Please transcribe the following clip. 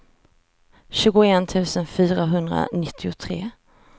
tjugoett tusen fyrahundranittiotre